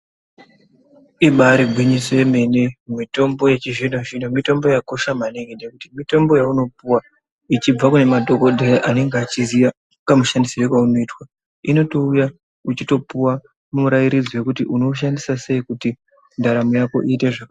Ibarigwinyiso yemene mitombo yechizvino-zvino mitombo yakosha maningi. Nekuti mitombo yaunopuwa ichibva kune madhogodheya anenge achiziya kamushandisirwo kaunoitwa inotouya uchitopuva murairidzi vekuti unoushandisa sei kuti ndaramo yako iite zvakanaka.